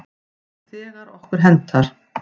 Þegar okkur hentar.